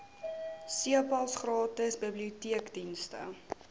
cpals gratis biblioteekdienste